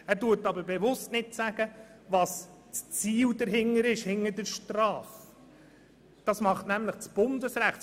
Er sagt aber bewusst nicht, welches Ziel hinter der Strafe steht, denn das tut nämlich das Bundesrecht.